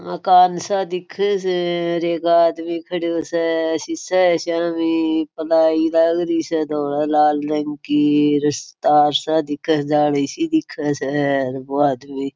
मकान सा दिखे स एक आदमी खड़ा स सिस्से के सामी प्लाई लागरी है धोळे लाल रंग की तार सा दिखे स जाली सी दिखे स वो आदमी --